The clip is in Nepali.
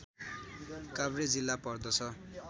काभ्रे जिल्ला पर्दछ